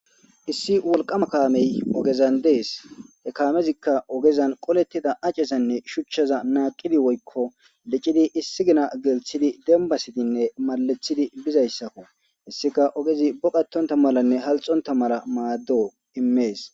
Issi wolqama kame ogezan des.he kamezika ogezan qoletida acezanne woykko shuchaza naqidi,woyko licidi de issi ginagelththidi dembasidinne maleththidi bizaysi hesika ogezi oqatonta malane konlxonta mala mades